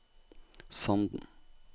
Sanden